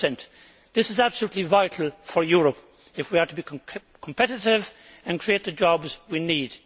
3. This is absolutely vital for Europe if we are to be competitive and create the jobs we need.